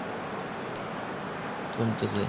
কমতেছে